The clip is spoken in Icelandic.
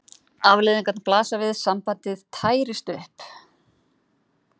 Afleiðingarnar blasa við: sambandið tærist upp.